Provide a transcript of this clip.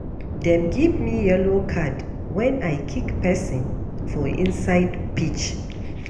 Dem give me yellow card wen I kick pesin for inside pitch.